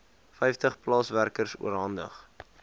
vyftig plaaswerkers oorhandig